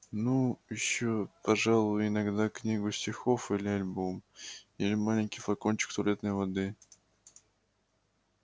ну ещё пожалуй иногда книгу стихов или альбом или маленький флакончик туалетной воды